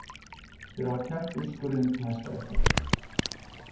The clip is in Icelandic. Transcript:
Þeir hafa kært úrskurðinn til Hæstaréttar